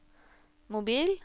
mobil